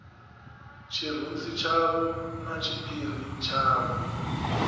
tshirunzi tshavho na tshiphiri tshavho